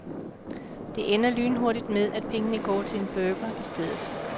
Det ender lynhurtigt med at pengene går til en burger i stedet.